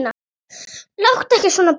Láttu ekki svona barn.